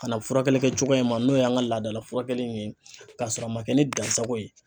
Ka na furakɛli kɛ cogo in ma n'o y'an ka laadala fura kɛli in ye k'a sɔrɔ a ma kɛ ni dansago ye.